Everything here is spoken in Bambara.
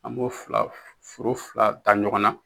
An b'o fila foro fila da ɲɔgɔn na